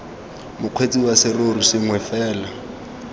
mokgweetsi wa serori sengwe fela